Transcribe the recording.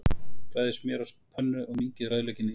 Bræðið smjör á pönnu og mýkið rauðlaukinn í því.